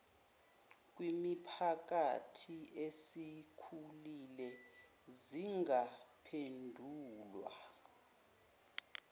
kwimiphakathi esikhulile zingaphendulwa